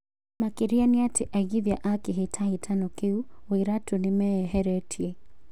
Makĩrĩra nĩ atĩ aigithia a kĩhĩtahĩtano kĩu- Wairatũ nimeyeheretie.